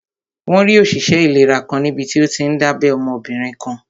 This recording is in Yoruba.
Wọ́n rí òṣìṣẹ́ ìlera kan níbití ó tíí n dábẹ́ ọmọbìnrin kan